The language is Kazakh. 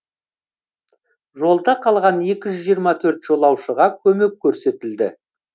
жолда қалған екі жүз жиырма төрт жолаушыға көмек көрсетілді